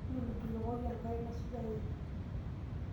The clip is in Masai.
Njulujulokoki enkare naisujareki.